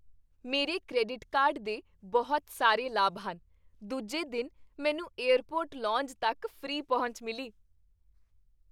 ਮੇਰੇ credit card ਦੇ ਬਹੁਤ ਸਾਰੇ ਲਾਭ ਹਨ। ਦੂਜੇ ਦਿਨ ਮੈਨੂੰ ਏਅਰਪੋਰਟ ਲੌਂਜ ਤੱਕ ਫ੍ਰੀ ਪਹੁੰਚ ਮਿਲੀ।